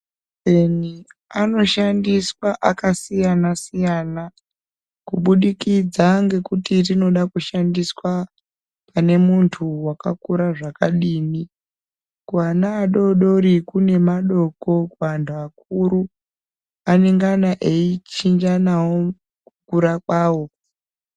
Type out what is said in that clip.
Majekiseni anoshandiswa akasiyana siyana kubudikidza ngekuti rinoda kushandiswa pane muntu wakakura zvakadini. Kuana adoodori kune madoko kuanhu akuru anenge ana eichinjanawo kukura kwawo.